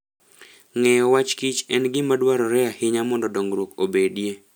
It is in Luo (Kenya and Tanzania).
Ng'eyo wachkich en gima dwarore ahinya mondo dongruok obedie.